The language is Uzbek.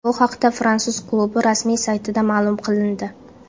Bu haqda fransuz klubi rasmiy saytida ma’lum qilindi .